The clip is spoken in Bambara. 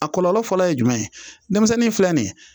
A kɔlɔlɔ fɔlɔ ye jumɛn ye denmisɛnnin filɛ nin ye